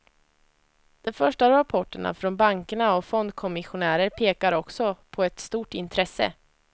De första rapporterna från bankerna och fondkommissionärer pekar också på ett stort intresse.